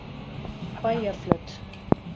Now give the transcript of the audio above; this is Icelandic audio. Bæjarflöt